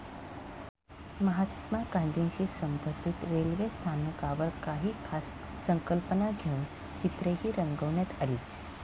महात्मा गांधीशी संबंधित रेल्वे स्थानकांवर काही खास संकल्पना घेऊन चित्रेही रंगवण्यात आली.